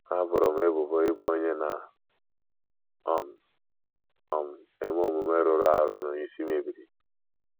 Ha boro m ebubo ịbụ onye na - um um eme omume rụrụ arụ na onye isi mebiri.